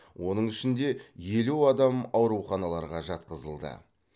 оның ішінде елу адам ауруханаларға жатқызылды